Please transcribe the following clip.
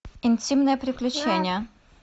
интимное приключение